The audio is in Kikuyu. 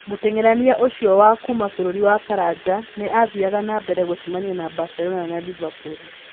Mũteng'erania ũcio wa kuuma bũrũri wa Faranja nĩ athiaga na mbere gũcemania na Barcelona na Liverpool.